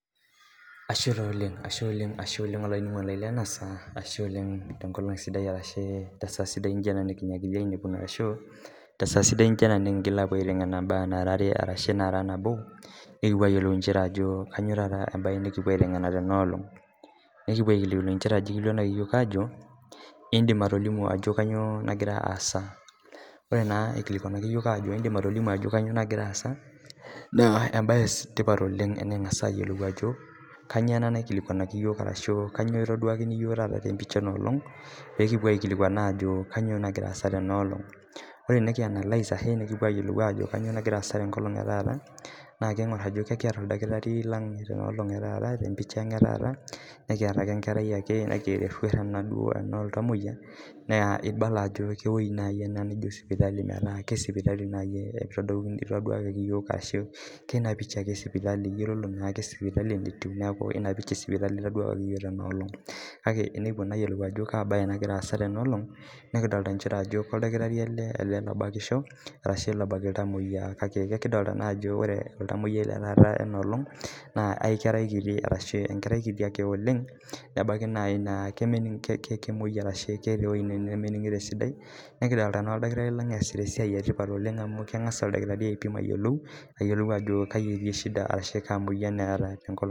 Ashe taa oleng' ashe oleng' ashe oleng' olainining'oni lai lena saa ashe oleng' tenkolong' sidai ashu tesaa sidai naijo ena nejinyiakita ainepuno arashu tesaa sidai naija ena nikiingil aapuo aiteng'ena imbaa nara are ashu nara nabo nikipuo ayeluo inchere ajo kanyio taata embae nikipuo aiteng'ena tenaolong' nekipuo aikilikuana nchere eikilikuanaki iyook ajo iidim atolimu ajo kanyio nagira aasa ore naa ikilikuanaki iyook ajo iidim atolimu ajo kanyio nagira aasa naa embae etipat oleng' teniking'asa ayolou ajo kanyio ena naikilikuanaki iyook arashu kanyio itaaduaki iyok tenapicha enoolong' pee kipuo aikilikuan ajo kanyio nagira asa tenoolong' ore tenianalais ashu tenikipuo ayoluo ajo kanyio nagira asa tenoolong' etaata naa kiing'or ajo kiata oldakitari lang' tenoolong' ang' etaata tempicha ang' etaata nekiyata enkerai ake nati erruat ake ena ooltamoiya naa ibala aj eweji ena naijo sipitali meeta kesipitali nai eitaduakaki iyook ashu keina picha ake esipitali iyololo naake sipitali enetiu neeku ina picha esipitali itaduakeki iyook tenaolong' , kake tenikipua naa ayolou ajo kaabaye nagira aasa tenaolong' nekidolita inchere oldakitari ele lobakisho arashu lobak iltamoya kake kekidolta naa ajo ore oltamoyai letaata lenaolong tenoolong' naa aikerai kiti arashu enkerai kiti ake oleng' nebaiki naai naa keke kemuoi arashu keeta ewuji nemeningito esidai nikidolta naa oldakitari lang' eesita esia etipat oleng' amuu keng'asa aipim ayolou ayolu ajo kai etii shida arashu kaa moyan eeta tenkolong' .